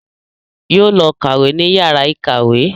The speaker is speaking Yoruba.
Yóò lọ kàwé ní yàrá ìkàwé